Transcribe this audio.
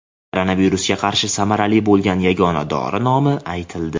Koronavirusga qarshi samarali bo‘lgan yagona dori nomi aytildi.